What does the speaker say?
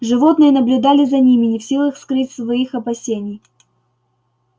животные наблюдали за ними не в силах скрыть своих опасений